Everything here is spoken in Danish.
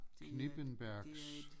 Knippenbergs